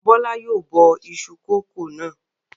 Bọ́lá yóò bọ iṣu kòkó náà.